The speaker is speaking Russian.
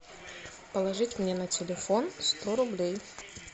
положить мне на телефон сто рублей